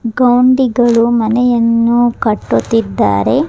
ಗೌನಡಿಗಳು ಮನೆಯನ್ನು ಕಟ್ಟುತ್ತಿದ್ದಾರೆ.